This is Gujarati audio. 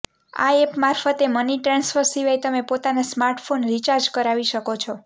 આ એપ મારફતે મની ટ્રાન્સફર સિવાય તમે પોતાના સ્માર્ટફોન રિચાર્જ કરાવી શકો છો